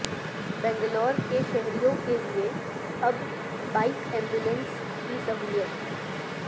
بنگلور کے شہریوں کے لیے اب بائک ایمبولنس کی سہولت